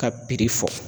Ka fɔ